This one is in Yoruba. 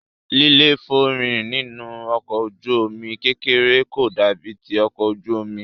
líléfòórìn nínú ọkọ̀ ojú omi kékeré kò dàbí ti ọkọ̀ ojú omi.